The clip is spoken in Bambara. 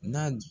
N'a